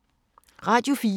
Radio 4